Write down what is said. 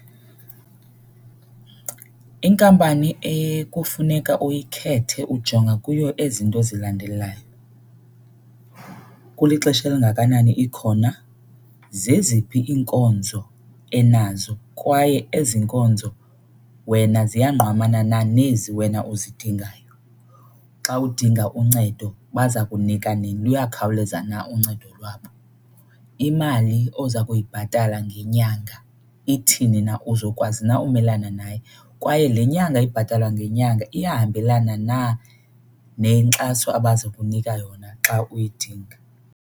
Inkampani ekufuneka uyikhethe ujonga kuyo ezi nto zilandelayo. Kulixesha elingakanani ikhona, zeziphi iinkonzo enazo kwaye ezi nkonzo wena ziyangqamana na nezi wena uzidingayo, xa udinga uncedo baza kunika nini luyakhawuleza na uncedo lwabo, imali oza kuyibhatala ngenyanga ithini na, uzokwazi na umelana nayo kwaye le nyanga ibhatalwa ngenyanga iyahambelana na nenkxaso abaza kunika yona xa uyidinga.